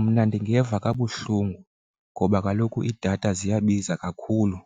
Mna ndingeva kabuhlungu ngoba kaloku idatha ziyabiza kakhulu,